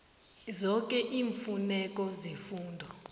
zoke iimfuneko zefundo